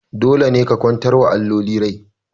Dole ne ku kwantar wa alloli rai!